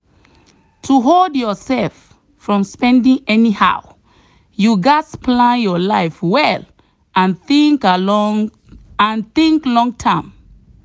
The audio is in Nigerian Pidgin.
to hold yourself from spending anyhow you gats plan your life well and think along and think loan term.